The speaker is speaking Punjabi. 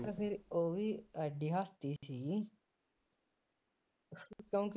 ਜਦ ਫਿਰ ਉਹ ਵੀ ਅੱਜ ਹੱਸਦੇ ਸੀ, ਕਿਉਂਕਿ